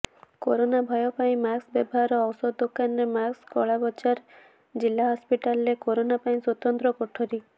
corona ଭୟ ପାଇଁ mask ବ୍ୟବହାର ଔଷଧ ଦୋକାନରେ ମାସ୍କ କଳାବଜାର ଜିଲ୍ଲାହସପିଟାଲରେ କରୋନା ପାଇଁ ସ୍ୱତନ୍ତ୍ର କୋଠରୀ